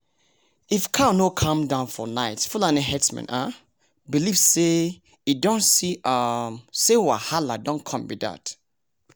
if cow no calm down for night fulani herdsmen um believe say e don see um say wahalah dey come be dat